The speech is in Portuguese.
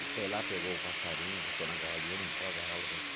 E foi lá, pegou o passarinho, botou na gaiola e ele limpou a gaiola.